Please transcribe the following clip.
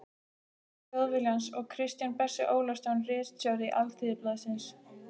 Þjóðviljans og Kristján Bersi Ólafsson ritstjóri Alþýðublaðsins.